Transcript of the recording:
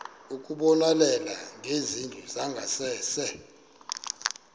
ukubonelela ngezindlu zangasese